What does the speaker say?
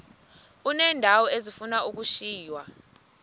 uneendawo ezifuna ukushiywa